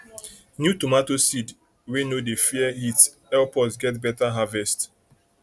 new tomato seed wey no dey fear heat help us get better harvest